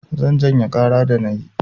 Zan janye ƙara da na yi.